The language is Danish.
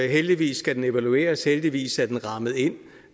heldigvis skal den evalueres heldigvis er den rammet ind